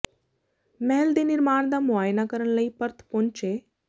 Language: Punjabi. ਮਹਿਲ ਦੇ ਨਿਰਮਾਣ ਦਾ ਮੁਆਇਨਾ ਕਰਨ ਲਈ ਪਰਥ ਪਹੁੰਚੇ